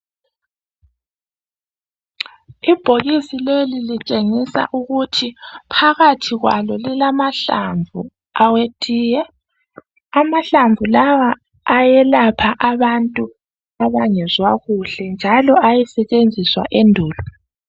ibhokisi lli litshengisa ukuthi phakathi kwalo lilamahlamvu awetiye amahlamvu lawa ayelapha abantu abangezwa kuhle njalo ayesetshenziswa endulo